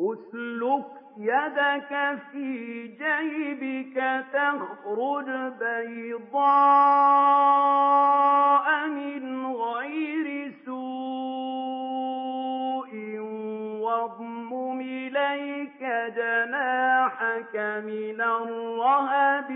اسْلُكْ يَدَكَ فِي جَيْبِكَ تَخْرُجْ بَيْضَاءَ مِنْ غَيْرِ سُوءٍ وَاضْمُمْ إِلَيْكَ جَنَاحَكَ مِنَ الرَّهْبِ ۖ